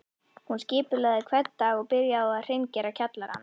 Hún skipulagði hvern dag og byrjaði á að hreingera kjallarann